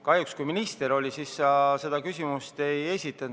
Kahjuks siis, kui minister komisjonis oli, sa seda küsimust ei esitanud.